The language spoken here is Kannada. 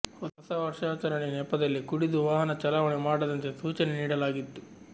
ಹೊಸ ವರ್ಷಾಚರಣೆ ನೆಪದಲ್ಲಿ ಕುಡಿದು ವಾಹನ ಚಲಾವಣೆ ಮಾಡದಂತೆ ಸೂಚನೆ ನೀಡಲಾಗಿತ್ತು